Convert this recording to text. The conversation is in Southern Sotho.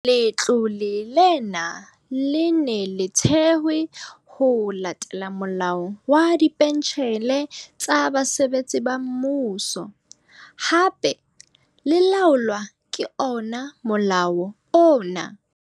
Letlole lena le ne le thewe ho latela Molao wa Dipentjhele tsa Basebetsi ba Mmuso, hape le laolwa ka ona molao ona.